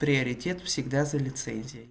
приоритет всегда за лицензией